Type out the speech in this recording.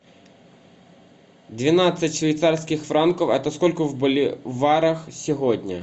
двенадцать швейцарских франков это сколько в боливарах сегодня